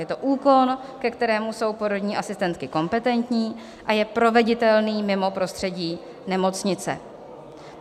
Je to úkon, ke kterému jsou porodní asistentky kompetentní a je proveditelný mimo prostředí nemocnice.